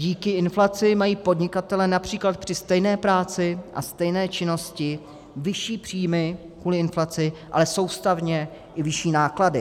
Díky inflaci mají podnikatelé například při stejné práci a stejné činnosti vyšší příjmy kvůli inflaci, ale soustavně i vyšší náklady.